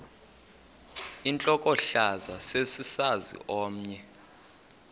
intlokohlaza sesisaz omny